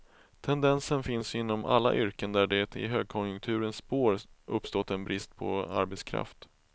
Tendensen finns inom alla yrken där det i högkonjunkturens spår uppstått en brist på arbetskraft.